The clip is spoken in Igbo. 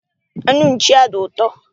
Anụ nchi a dị ụtọ.